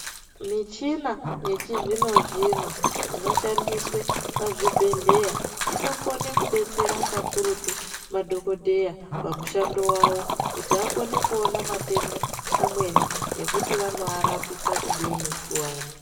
Michina yechizvino-zvino inoshandiswe pachibhedhleya, inokone kubetsera kakurutu madhogodheya pamushando vawo. Kuti vakone kuona matenda amweni nekuti anoarapisa kudini kuvantu.